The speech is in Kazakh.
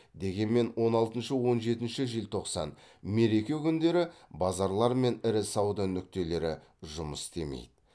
дегенмен он алтыншы он жетінші желтоқсан мереке күндері базарлар мен ірі сауда нүктелері жұмыс істемейді